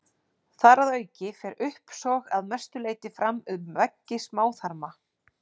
Þar að auki fer uppsog að mestu leyti fram um veggi smáþarma.